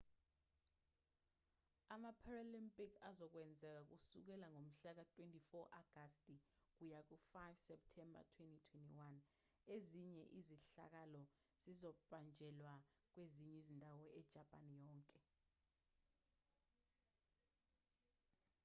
ama-paralympic azokwenzeka kusukela ngomhla ka-24 agasti kuya ku-5 septemba 2021 ezinye izehlakalo zizobanjelwa kwezinye izindawo ejapani yonke